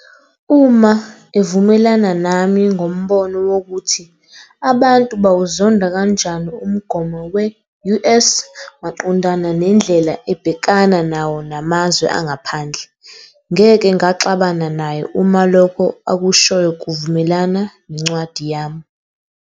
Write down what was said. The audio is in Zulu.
Uma evumelana nami ngombono wokuthi abantu bawuzonda kanjani umgomo we-US maqondana nendlela ebhekana nawo namazwe angaphandle, ngeke ngaxabana naye uma lokho akushoyo kuvumelana nencwadi yami.